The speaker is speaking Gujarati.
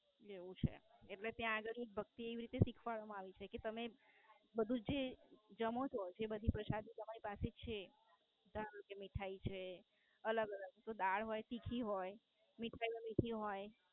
એવું છે એટલે ત્યાં આ બધું ભક્તિ એવી રીતે શીખવાડવામાં આવી છે જે તમે જમો છો. જે બધી પ્રસાદી તમારી પાસે છે. ધારો કે મીઠાઈ છે. અલગ અલગ જો દાળ હોય તીખી હોય મીઠાઈઓ મીઠી હોય.